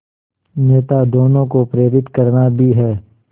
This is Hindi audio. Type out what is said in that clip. नेता दोनों को प्रेरित करना भी है